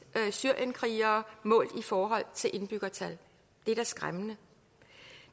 syrienskrigere målt i forhold til indbyggertal det er da skræmmende